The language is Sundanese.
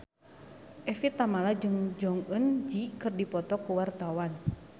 Evie Tamala jeung Jong Eun Ji keur dipoto ku wartawan